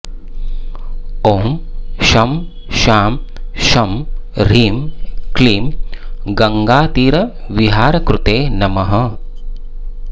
ॐ शं शां षं ह्रीं क्लीं गङ्गातीरविहारकृते नमः